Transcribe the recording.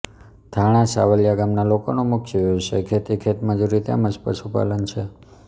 થાણા સાવલી ગામના લોકોનો મુખ્ય વ્યવસાય ખેતી ખેતમજૂરી તેમ જ પશુપાલન છે